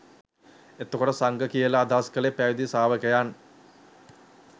එතකොට සංඝ කියල අදහස් කළේ පැවිදි ශ්‍රාවකයන්